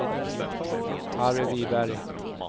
Harry Wiberg